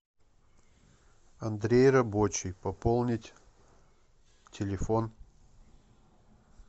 андрей рабочий пополнить телефон